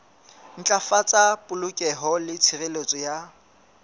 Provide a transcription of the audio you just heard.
ntlafatsa polokeho le tshireletso ya